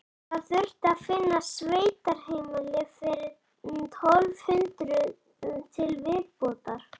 Það þurfti að finna sveitaheimili fyrir tólf hundruð til viðbótar.